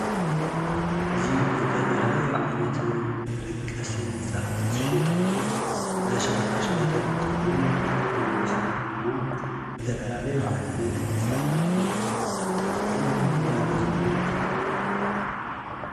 እዚ ዝተፈላለዩ ዓይነት መደቀሲ ምንፃፋት ዝሽየጠሉ እንዳ ሸቀጣሸቀጥ እንትኾን ብርክት ዝበሉ ሰባት ድማ ዝተፈላለዩ ዓይነት ምንፃፋትን እናጠየቁን እናገዝኡን ይርከቡ ።